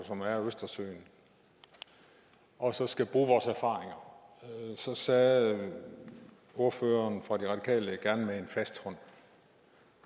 som er østersøen og så skal bruge vores erfaringer så sagde ordføreren fra de radikale gerne med en fast hånd